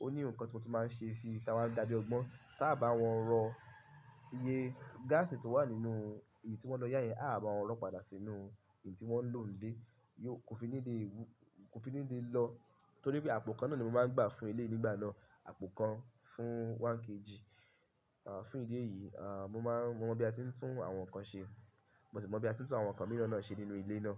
Ó ní nǹkan tí mo tún máa ń ṣe sí i tí a máa ń dàbí ọgbọ́n tá bá wọ́n rọ iye gáàsì tó wà nínú èyí tí wọ́n lọ yá yẹn a bá wọn lọ̀ padà sínú èyí tí wọ́n ń lò ń lé. Yóò kò fi nílé, kò fi nílé lọ nítorí pé àpò kan náà ni mo máa ń gbà fún eleyii nígbà náà. Àpò kan fún 1kg. Fún idi eeyi mo mon bi a tin tu nkan se mosi mon bi a tin tu àwọn nkan mìíràn se.